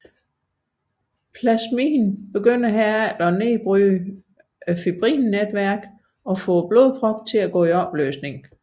Plasmin vil herefter begynde at nedbryde fibrinnetværket og få blodproppen til at gå i opløsning